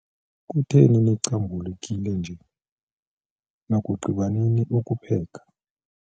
Kutheni nicubhukile nje? Nakugqiba nini ukupheka?